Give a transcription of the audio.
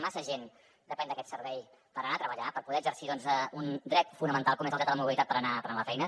massa gent depèn d’aquest servei per anar a treballar per poder exercir un dret fonamental com és el dret a la mobilitat per anar a la feina